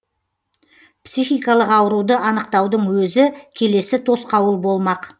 психикалық ауруды анықтаудың өзі келесі тосқауыл болмақ